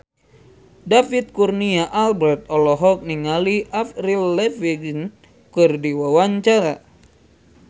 David Kurnia Albert olohok ningali Avril Lavigne keur diwawancara